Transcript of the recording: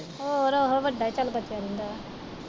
ਹੋਰ ਉਹੋ ਵੱਡਾ ਹੀ ਚੱਲ ਬਚਿਆ ਰਹਿੰਦਾ।